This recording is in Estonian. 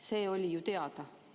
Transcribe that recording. See oli ju teada.